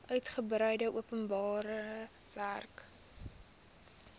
uitgebreide openbare werke